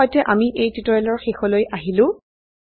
ইয়াৰ সৈতে আমি এই টিউটোৰিয়েলৰ শেষলৈ আহিলো